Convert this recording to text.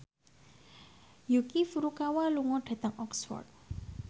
Yuki Furukawa lunga dhateng Oxford